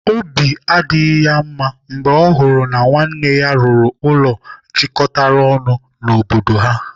Obi adịghị ya mma mgbe ọ hụrụ na nwanne ya rụrụ ụlọ jikọtara ọnụ n'obodo ha.